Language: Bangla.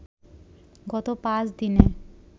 গত ৫ দিনে